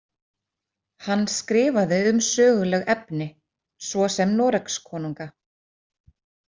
Hann skrifaði um söguleg efni, svo sem Noregskonunga.